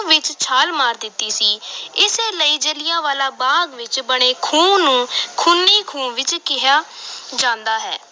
ਵਿਚ ਛਾਲ ਮਾਰ ਦਿੱਤੀ ਸੀ ਇਸੇ ਲਈ ਜਲ੍ਹਿਆਂਵਾਲੇ ਬਾਗ ਵਿਚ ਬਣੇ ਖੂਹ ਨੂੰ ਖੂਨੀ ਖੂਹ ਵੀ ਕਿਹਾ ਜਾਂਦਾ ਹੈ।